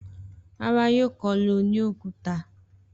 Rárá, yóò kọ́lé oní òkúta.